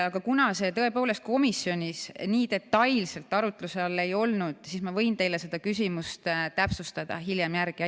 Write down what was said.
Aga kuna see tõepoolest komisjonis nii detailselt arutluse all ei olnud, siis ma võin teie küsimust veel täpsustada ja hiljem sellele vastata.